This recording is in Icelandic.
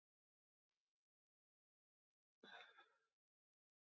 Björn: Þú sagðir áðan í ræðu þinni að inntökuskilyrði yrðu ströng?